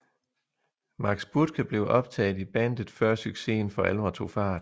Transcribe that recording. Max Buthke blev optaget i bandet før succesen for alvor tog fart